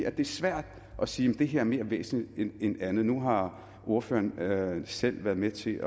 at det er svært at sige det her er mere væsentligt end andet nu har ordføreren selv været med til